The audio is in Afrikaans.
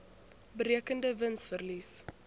berekende wins verlies